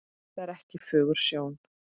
Það er ekki fögur sjón.